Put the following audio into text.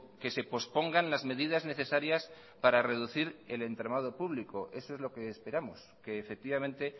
que se pospongan las medidas necesarias para reducir el entramado público eso es lo que esperamos que efectivamente